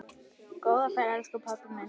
Góða ferð, elsku pabbi minn.